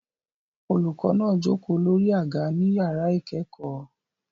Olùkọ́ náà jókòó lórí àga ní yàrá ìkẹ́kọ̀ọ́